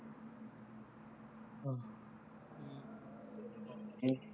ਹੈਂ